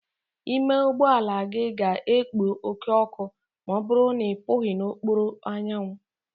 Ime ụgbọ ala gị ga-ekpo oke ọkụ ma ọ bụrụ na ị pụghi n'okpuru anyanwụ.